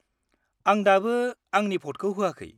-आं दाबो आंनि भ'टखौ होआखै।